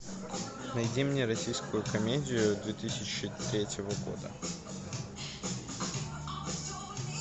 найди мне российскую комедию две тысячи третьего года